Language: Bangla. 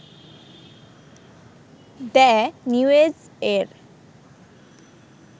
দ্যা নিউএজ এর